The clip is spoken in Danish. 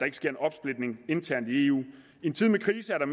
ikke sker en opsplitning internt i eu i en tid med krise er der